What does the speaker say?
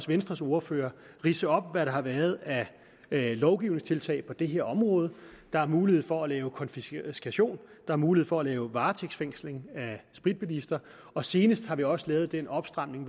venstres ordfører ridse op hvad der har været af lovgivningstiltag på det her område der er mulighed for at lave konfiskation der mulighed for at lave varetægtsfængsling af spritbilister og senest har vi også lavet den opstramning